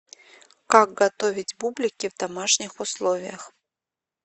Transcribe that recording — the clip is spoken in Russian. как готовить бублики в домашних условиях